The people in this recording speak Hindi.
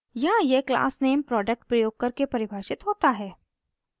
यहाँ यह क्लास नेम product प्रयोग करके परिभाषित होता है